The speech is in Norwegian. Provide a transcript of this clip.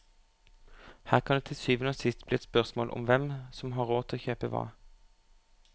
Her kan det til syvende og sist bli et spørsmål om hvem som har råd til å kjøpe hva.